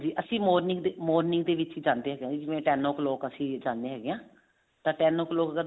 ਅਸੀਂ morning morning ਦੇ ਵਿੱਚ ਹੀ ਜਾਂਦੇ ਹਾਂ ਜਿਵੇਂ ten o clock ਅਸੀਂ ਜਾਂਦੇ ਹੈਗੇ ਆ ਤਾਂ ten o clock ਦਾ